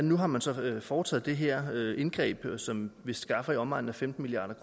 nu har man så foretaget det her indgreb som vist skaffer i omegnen af femten milliard